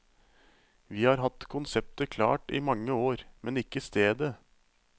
Vi har hatt konseptet klart i mange år, men ikke stedet.